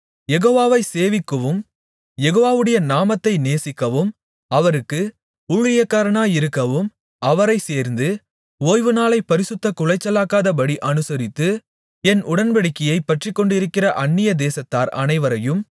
யெகோவாவைச் சேவிக்கவும் யெகோவாவுடைய நாமத்தை நேசிக்கவும் அவருக்கு ஊழியக்காரராயிருக்கவும் அவரைச் சேர்ந்து ஓய்வுநாளைப் பரிசுத்தக் குலைச்சலாக்காதபடி அனுசரித்து என் உடன்படிக்கையைப் பற்றிக்கொண்டிருக்கிற அந்நிய தேசத்தார் அனைவரையும்